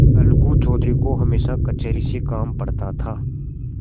अलगू चौधरी को हमेशा कचहरी से काम पड़ता था